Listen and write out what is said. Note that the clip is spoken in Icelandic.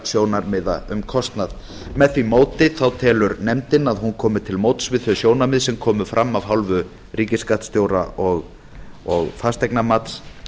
sjónarmiða um kostnað með því móti telur nefndin að hún komi til móts við þau sjónarmið sem komu fram af hálfu ríkisskattstjóra og fasteignamats